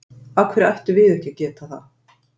Af hverju ættum við ekki að geta það?